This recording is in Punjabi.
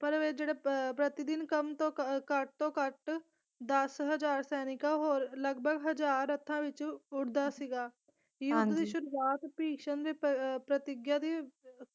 ਪਰ ਅਹ ਜਿਹੜੇ ਅਹ ਪ੍ਰਤੀਦਿਨ ਕਮ ਤੋਂ ਅਹ ਘੱਟ ਤੋਂ ਘੱਟ ਦਸ ਹਜ਼ਾਰ ਸੈਨਿਕਾਂ ਹੋਰ ਲਗਭਗ ਹਜ਼ਾਰ ਰੱਥਾਂ ਵਿੱਚੋਂ ਉੱਠਦਾ ਸੀਗਾ ਯੁੱਧ ਦੀ ਸ਼ੁਰੂਆਤ ਭੀਸ਼ਮ ਨੇ ਪ ਪ੍ਰਤਿਗਿਆ ਦੀ